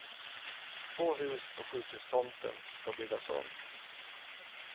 Två hus på sjukhustomten ska byggas om.